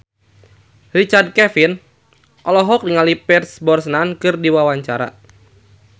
Richard Kevin olohok ningali Pierce Brosnan keur diwawancara